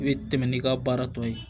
I bɛ tɛmɛ n'i ka baara tɔ ye